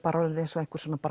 eins og